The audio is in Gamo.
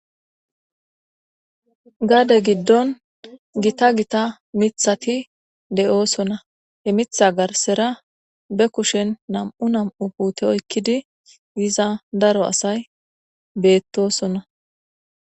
Gade giddon gitta gitta miththati de'osonna.he miththa garssara be kushshen nam'u nam'u putte oyikidi biza daro asay bettosona.